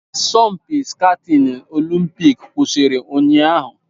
Asọmpi skatini olimpik kwụsịrị ụnyahụ.